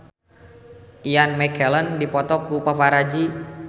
Ian McKellen dipoto ku paparazi